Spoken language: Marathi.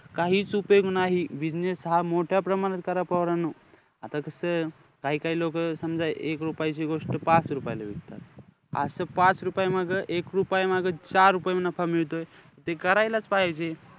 काहीचं उपयोग नाही. business हा मोठ्या प्रमाणात करा पोरांनो. आता कसं काही-काही लोकं समजा एक रुपयाची गोष्ट पाच रुपयाला विकता. असं पाच रुपयामागं, एक रुपया मागं, चार रुपये नफा मिळतोय, ते करायलाचं पाहिजे.